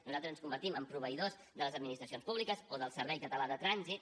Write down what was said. nosaltres ens convertim en proveïdors de les administracions públiques o del servei català de trànsit